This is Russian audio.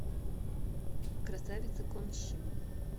красавица кон щим